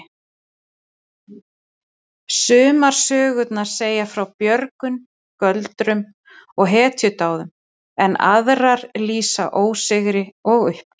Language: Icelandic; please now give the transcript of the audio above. Sumar sögurnar segja frá björgun, göldrum og hetjudáðum en aðrar lýsa ósigri og uppgjöf.